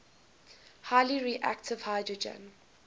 highly reactive hydrogen